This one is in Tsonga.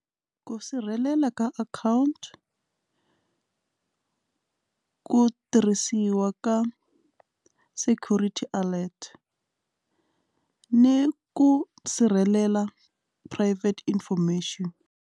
Ku sirhelela ka akhawunti ku tirhisiwa ka security alert ni ku sirhelela private information.